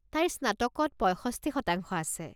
তাইৰ স্নাতকত পঁইষষ্ঠি শতাংশ আছে।